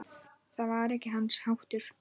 Það var ekki hans háttur.